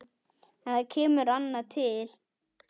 En það kemur annað til.